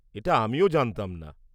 এটা আমিও জানতাম না।